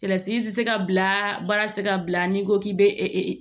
tɛ se ka bila baara ti se ka bila n'i ko k'i be